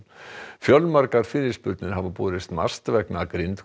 fjölmargar fyrirspurnir hafa borist MAST vegna